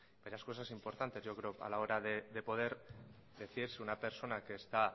varias cosas importantes yo creo a la hora de poder decir si una persona que está